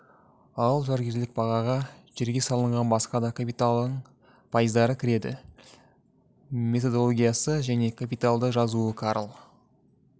ал жалгерлік бағаға жерге салынған басқа да капиталдың пайыздары кіреді методологиясы және капиталды жазуы карл